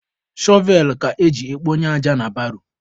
Shọvel ka eji ekponye aja na baro.